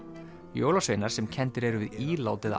jólasveinar sem kenndir eru við ílát eða